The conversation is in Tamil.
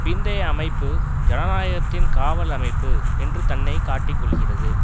பிந்தைய அமைப்பு ஜனநாயகத்தின் காவல் அமைப்பு என்று தன்னை காட்டிக் கொள்ளுகிறது